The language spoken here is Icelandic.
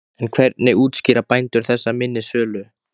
En hvernig útskýra bændur þessa minni sölu?